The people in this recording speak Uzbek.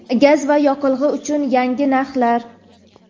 gaz va yoqilg‘i uchun yangi narxlar.